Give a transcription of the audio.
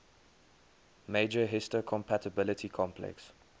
major histocompatibility complex